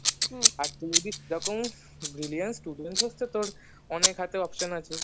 আর তুই যদি সেরকম brilliant student হস তো তোর অনেক হাতে option আছে